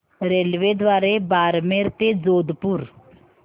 रेल्वेद्वारे बारमेर ते जोधपुर